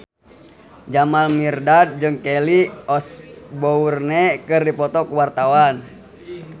Jamal Mirdad jeung Kelly Osbourne keur dipoto ku wartawan